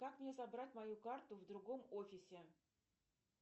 как мне забрать мою карту в другом офисе